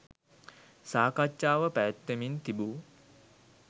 සාකච්ඡාව පැවැත්වෙමින් තිබු